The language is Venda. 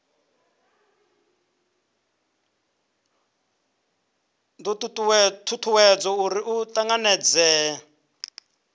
do tutuwedza uri ri tanganedzee